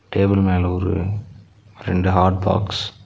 Table மேல ஒரு ரெண்டு ஹாட் பாக்ஸ் .